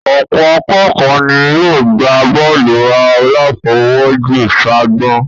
Ọ̀pọ̀ akékọ̀ọ́ ni yóò gbá bọ́ọ̀lù aláfọwọ́jù ságbọ̀n